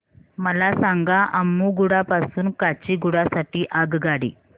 मला सांगा अम्मुगुडा पासून काचीगुडा साठी आगगाडी